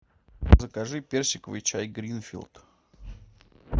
закажи персиковый чай гринфилд